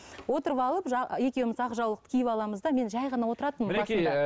отырып алып екеуміз ақ жаулықты киіп аламыз да мен жай ғана отыратынмын